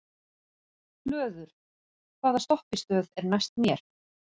Hlöður, hvaða stoppistöð er næst mér?